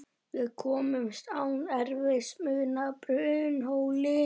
Við komumst án erfiðismuna að Brunnhóli.